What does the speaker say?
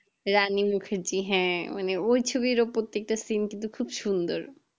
রানী মুখার্জী হ্যাঁ মানে ওই ছবিরও প্রত্যেকটা seen কিন্তু খুব সুন্দর